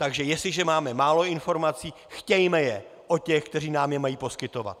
Takže jestliže máme málo informací, chtějme je od těch, kteří nám je mají poskytovat.